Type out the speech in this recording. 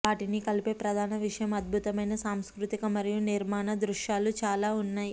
వాటిని కలిపే ప్రధాన విషయం అద్భుతమైన సాంస్కృతిక మరియు నిర్మాణ దృశ్యాలు చాలా ఉన్నాయి